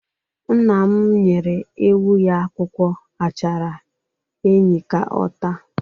Nna m nyere ewu ya akwụkwọ achara enyi ka ọ taa.